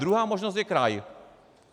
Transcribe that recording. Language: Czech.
Druhá možnost je kraj.